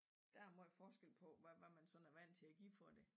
Der er meget forskel på hvad man sådan er vandt til at give for det